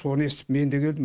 соны естіп мен де келдім